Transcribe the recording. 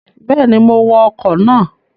Bẹ́ẹ̀ni, mo wọ ọkọ̀ náà